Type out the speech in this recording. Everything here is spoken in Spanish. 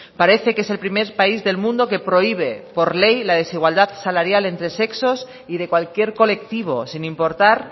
parece que es el primer país del mundo que prohíbe por ley la desigualdad salarial entre sexos y de cualquier colectivo sin importar